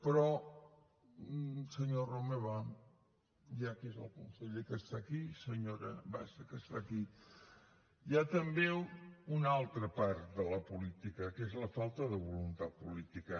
però senyor romeva ja que és el conseller que està aquí i senyora bassa que està aquí hi ha també una altra part de la política que és la falta de voluntat política